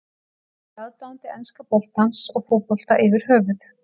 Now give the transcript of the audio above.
Nú er ég aðdáandi enska boltans og fótbolta yfir höfuð.